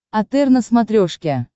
отр на смотрешке